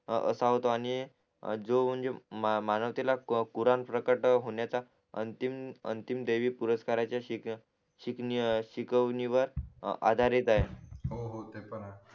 असा होतो आणि जो म्हणजे मानवातील पुराण प्रकट होण्याचा अंतिम अंतिम दैविक पुरस्कार शीग शिक शिकवणीवर आधारित आहे हो हो ते पण आहे